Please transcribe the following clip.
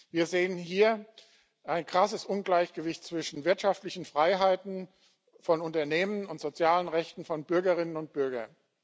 Wir sehen hier ein krasses Ungleichgewicht zwischen wirtschaftlichen Freiheiten von Unternehmen und sozialen Rechten von Bürgerinnen und Bürgern.